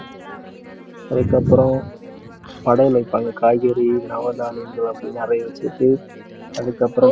அதுக்கப்புறம் படையல் வைப்பாங்க, காய்கறி, நவதானியங்கள் அப்படி நிறைய வச்சுட்டு அதுக்கப்புறம்